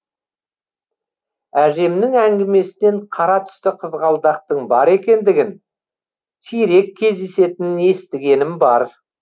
әжемнің әңгімесінен қара түсті қызғалдақтың бар екендігін сирек кездесетінін естігенім бар